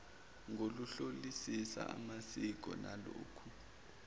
ngokuhlolisisa amasiko nalokho